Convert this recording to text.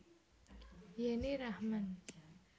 Yenny Rachman